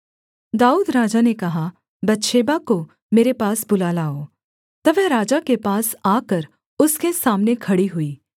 दाऊद राजा ने कहा बतशेबा को मेरे पास बुला लाओ तब वह राजा के पास आकर उसके सामने खड़ी हुई